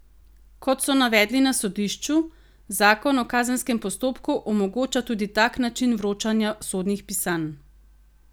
Kot so navedli na sodišču, zakon o kazenskem postopku omogoča tudi tak način vročanja sodnih pisanj.